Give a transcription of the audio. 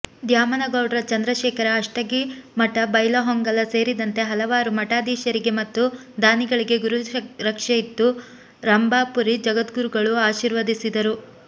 ದ್ಯಾಮನಗೌಡ್ರ ಚಂದ್ರಶೇಖರ ಅಷ್ಟಗಿಮಠ ಬೈಲಹೊಂಗಲ ಸೇರಿದಂತೆ ಹಲವಾರು ಮಠಾಧೀಶರಿಗೆ ಮತ್ತು ದಾನಿಗಳಿಗೆ ಗುರು ರಕ್ಷೆಯಿತ್ತು ರಂಭಾಪುರಿ ಜಗದ್ಗುರುಗಳು ಆಶೀರ್ವದಿಸಿದರು